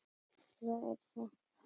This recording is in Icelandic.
Svo er sagt.